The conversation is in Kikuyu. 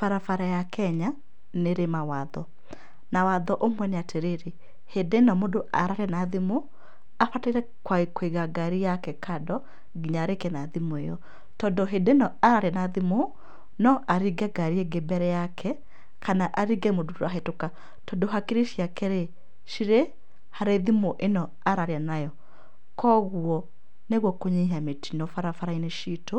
Bara bara ya Kenya nĩ ĩrĩ mawatho, na watho ũmwe nĩ atĩrĩrĩ, hĩndĩ ĩno mũndũ araria na thimũ, abataire kũiga ngari yake kando nginya arĩkie na thimũ ĩyo. Tondũ hĩndĩ ĩno araria na thimũ, no aringe ngari ĩngĩ mbere yake, kana aringe mũndũ ũrahĩtũka tondũ akiri ciake rĩ, cirĩ harĩ thimũ ĩno araria nayo. Kwoguo, nĩguo kũnyihia mĩtino barabara-inĩ citũ,